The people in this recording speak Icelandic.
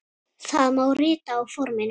Það má rita á forminu